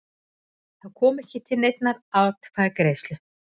Þá kom ekki til neinnar atkvæðagreiðslu